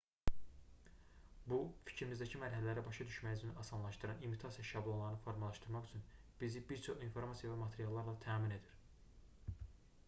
bu fikrimizdəki mərhələləri başa düşməyimizi asanlaşdıran imitasiya şablonlarını formalaşdırmaq üçün bizi bir çox informasiya və materiallarla təmin edir